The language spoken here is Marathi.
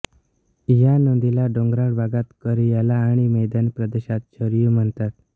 या नदीला डोंगराळ भागात कौरियाला आणि मैदानी प्रदेशात शरयू म्हणतात